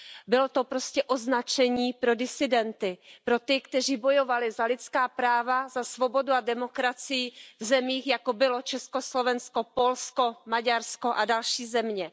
Bylo to prostě označení pro disidenty, pro ty, kteří bojovali za lidská práva, za svobodu a demokracii v zemích, jako bylo Československo, Polsko, Maďarsko a další země.